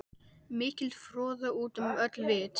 Mikil froða út um öll vit.